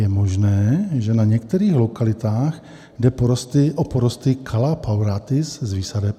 Je možné, že na některých lokalitách jde o porosty calla paulatis z výsadeb.